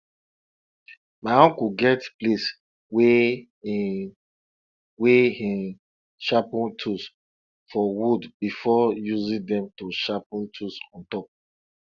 my uncle get place wey him wey him sharpen tools for wood before using them to sharpen tools on top